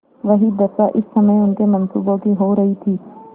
वही दशा इस समय उनके मनसूबों की हो रही थी